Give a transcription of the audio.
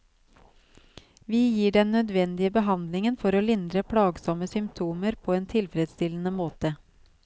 Vi gir den nødvendige behandlingen for å lindre plagsomme symptomer på en tilfredsstillende måte.